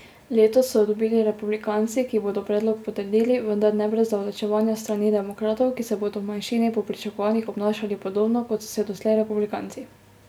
Letos so jo dobili republikanci, ki bodo predlog potrdili, vendar ne brez zavlačevanja s strani demokratov, ki se bodo v manjšini po pričakovanjih obnašali podobno kot so se doslej republikanci.